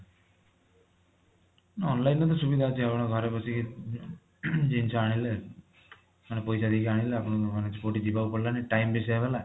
online ରୁ ବି ସୁବିଧା ଅଛି ଆପଣ ଘରେ ବସିକି ଜିନିଷ ଆଣିଲେ ମାନେ ପଇସା ଦେଇକି ଆଣିଲେ ଆପଣଙ୍କୁ ମାନେ କୋଊଠି କିଛି ଯିବାକୁ ପଡିଲାନି time ବି save ହେଲା